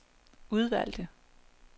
udvalgte